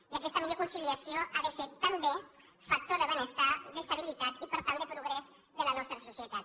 i aquesta millor conciliació ha de ser també factor de benestar d’estabilitat i per tant de progrés de la nostra societat